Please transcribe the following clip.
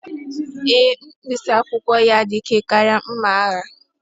Ee, mkpịsị akwụkwọ ya dị ike karịa mma agha.